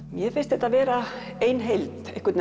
mér finnst þetta vera ein heild einhvern